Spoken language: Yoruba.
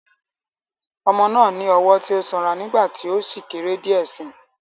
Ọmọ náà ní ọwọ́ tí ó sanra nígbà tí ó sì kéré díẹ̀ síi.